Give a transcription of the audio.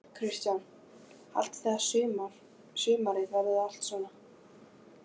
Kristján: Haldið þið að sumarið verið allt svona?